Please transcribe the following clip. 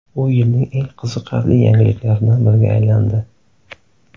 U yilning eng qiziqarli yangiliklaridan biriga aylandi.